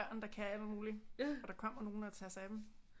Børn der kan alt muligt og der kommer nogle og tager sig af dem